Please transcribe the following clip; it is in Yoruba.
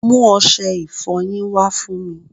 mú ọṣẹ ìfọyín wá fún mi